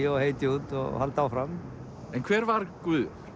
og hey Jude og halda áfram en hver var Guðjón